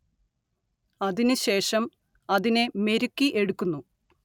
അതിനു ശേഷം അതിനെ മെരുക്കിയെടുക്കുന്നു